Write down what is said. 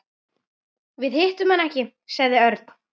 Við hittum hann ekki sagði Örn.